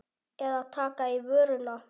Eða taka í vörina.